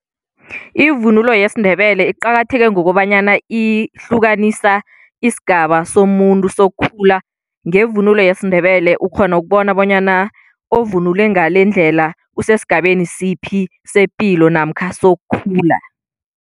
Ivunulo yesiNdebele iqakatheke ngokobanyana ihlukanisa isigaba somuntu sokukhula. Ngevunulo yesiNdebele ukghona ukubona bonyana ovunule ngalendlela usesigabeni siphi sepilo namkha sokukhula.